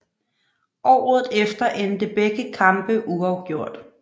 Året efter endte begge kampe uafgjort